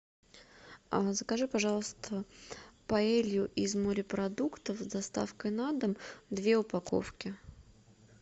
закажи пожалуйста паэлью из морепродуктов с доставкой на дом две упаковки